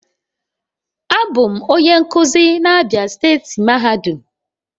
Abum onye nkuzi na Abia steeti mahadum